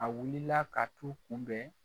A wulila ka t'u kunbɛn